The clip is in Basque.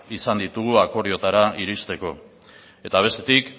izan ditugu akordioetara iristeko eta bestetik